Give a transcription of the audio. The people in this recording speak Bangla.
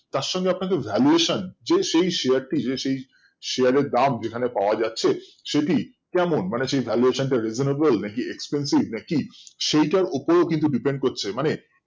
তার সঙ্গে আপনাকে valuation যে সেই Share টি যে সেই এর দাম যেখানে পাওয়া যাচ্ছে সেটি কেমন মানে সেই valuation টা reasonable না expensive না কি সেইটার উপরেও কিন্তু Depend করছে